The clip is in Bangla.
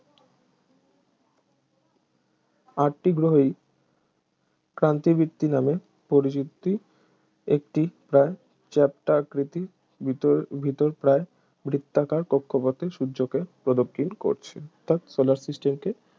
আটটি গ্রহই ক্রান্তিবৃত্ত নামে পরিচিত একটি প্রায় চ্যাপ্টা আকৃতি ভিতর ভিতর প্রায় বৃত্তাকার কক্ষপথে সূর্যকে প্রদক্ষিণ করছে অথাৎ solar system কে